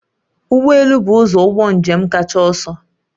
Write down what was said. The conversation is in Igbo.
Ụgbọ elu bụ ụzọ ụgbọ njem kacha ọsọ